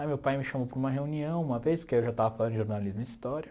Aí meu pai me chamou para uma reunião uma vez, porque eu já estava falando de jornalismo e história.